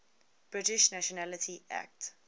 british nationality act